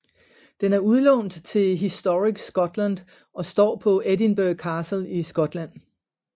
Den er udlånt til Historic Scotland og står på Edinburgh Castle i Skotland